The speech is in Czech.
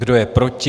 Kdo je proti?